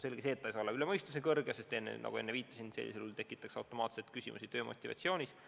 Selge on, et see ei saa olla üle mõistuse kõrge, sest nagu ma enne viitasin, see tekitaks automaatselt küsimuse töö motivatsiooni kohta.